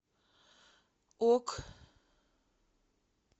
ок